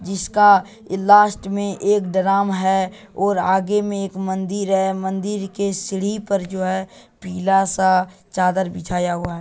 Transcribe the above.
जिसका लास्ट में एक ड्राम है और आगे में एक मंदिर है मंदिर के सीढ़ी पर जो है पीला सा चादर बिछाया हुआ है।